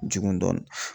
Jugu dɔnni